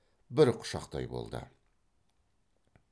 бір құшақтай болды